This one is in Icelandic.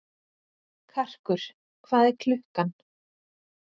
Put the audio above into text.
Karkur, hvað er klukkan?